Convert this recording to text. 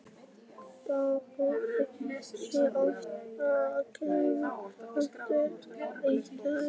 BAUJA: Guði sé lof, ég heyri aftur í þér!